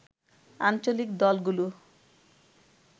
আঞ্চলিক দলগুলো